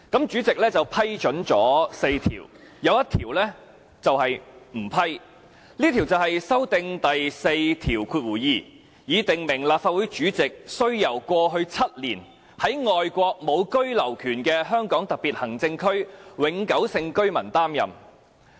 主席只批准了4項，有一項不批准，這項就是修訂《議事規則》第42條，以訂明立法會主席需由過去7年在外國無居留權的香港特別行政區永久性居民擔任。